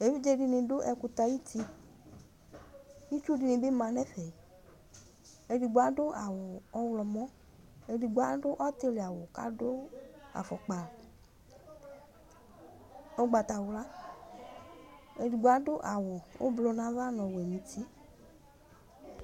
Evidze dini dʋ ɛkutɛ ayiʋ'tiItsu dini bi manʋ ɛfɛ Edigbo adʋ awu ɔɣlɔmɔEdigbo adʋ ɔtili'awu, kʋ adʋ afukpa ugbatawlaEdigbo adʋ awu ʋblu nʋ ava , nu ɔwɛ nʋ uti